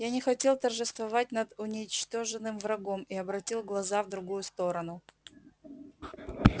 я не хотел торжествовать над уничтоженным врагом и обратил глаза в другую сторону